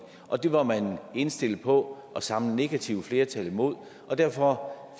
og det var man indstillet på at samle et negativt flertal imod derfor